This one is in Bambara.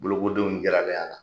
Bolokodenw jiralen a la.